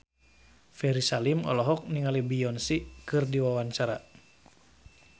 Ferry Salim olohok ningali Beyonce keur diwawancara